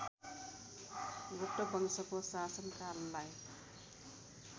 गुप्त वंशको शासनकाललाई